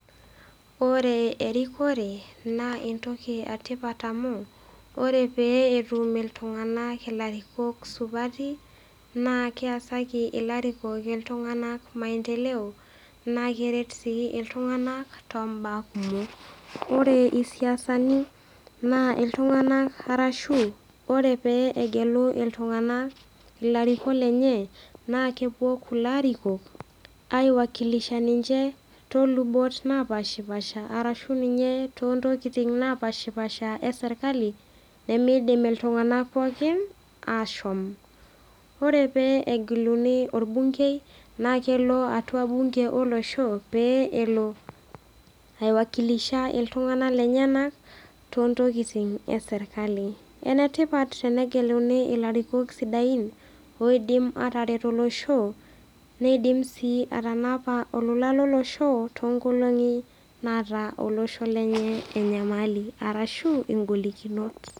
Ore erikore naa entoki etipat amu ore pee etum iltung'ana ilarikok supati naa keasaki ilarikok iltung'ana maendeleo naake eret sii iltung'ana toombaa kumok. Ore isiasani naa iltung'ana arashu ore pee egelunu iltung'ana ilarikok lenye naa kewuo kulo arikok aiwakilisha ninche too lubot naapashipaasha arashu ninye too ntokitin naapaashipaasha e serkali nemeidim iltung'ana pookin ashom. Ore pee egeluni olbungei, naa kelo atua bunge olosho pee elo aiwakilisha iltung'ana lenyena too ntokitin e serkali. Enetipat tenegelluni ilarikok sidain oidim ataret olosho neidim sii atanapa olola lolosho toonkolong'i naata olosho lenye enyamali arashu ingolikinot.